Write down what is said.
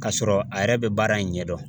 K'a sɔrɔ a yɛrɛ bɛ baara in ɲɛdɔn